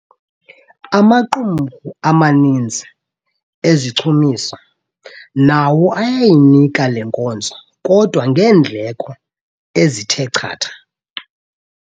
Amaqumrhu amaninzi ezichumiso nawo ayayinika le nkonzo kodwa ngeendleko ezithe chatha.